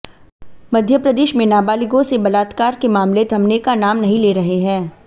मध्यप्रदेश में नाबालिगों से बलात्कार के मामले थमने का नाम नहीं ले रहे हैं